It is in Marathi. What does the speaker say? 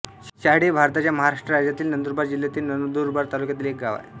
शहाडे हे भारताच्या महाराष्ट्र राज्यातील नंदुरबार जिल्ह्यातील नंदुरबार तालुक्यातील एक गाव आहे